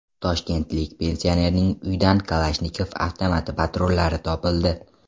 Toshkentlik pensionerning uyidan Kalashnikov avtomati patronlari topildi.